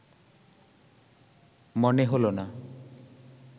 মনে হল না